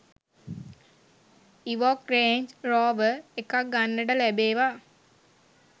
Evoque Range Rover එකක් ගන්නට ලැබේවා